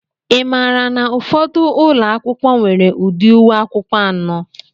Ị maara na ụfọdụ ụlọ akwụkwọ nwere ụdị uwe akwụkwọ anọ?